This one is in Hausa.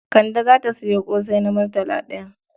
Kande za ta sayo ƙosai na murtala ɗaya.